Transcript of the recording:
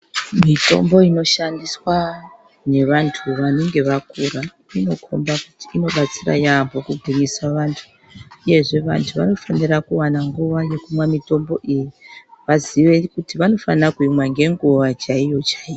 Mitombo inoshandiswa ngevantu vanenge vakura inokomba inobatsira yambo kugirisa vantu uyezve vantu vanofanira kuwana nguwa yekumwa mitombo iyi vaziye kuti vanofanira kuimwa ngenguwa chaiyo chaiyo .